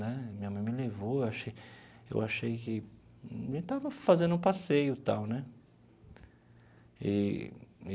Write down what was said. Né minha mãe me levou, eu achei eu achei que... a gente estava fazendo um passeio e tal, né? Eee.